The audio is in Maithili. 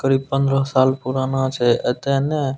करीब पंद्रा साल पुराना छै एता ने --